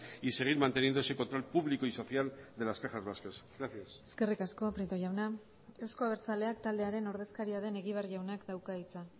y seguir manteniendo ese control público y social de las cajas vascas gracias eskerrik asko prieto jauna euzko abertzaleak taldearen ordezkaria den egibar jaunak dauka hitza